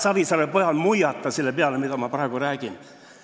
Savisaare pojal ei maksa muiata selle peale, mida ma praegu räägin.